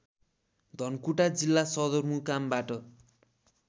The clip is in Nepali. धनकुटा जिल्ला सदरमुकामबाट